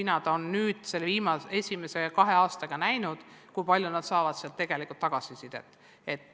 Nad on nüüd selle esimese kahe aastaga näinud, kui palju nad testidest tegelikult tagasisidet saavad.